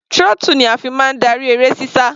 Throttle ni a fi máa darí eré sísá.